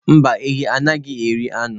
Mba, ehi anaghi eri anu.